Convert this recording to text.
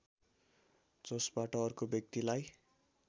जसबाट अर्को व्यक्तिलाई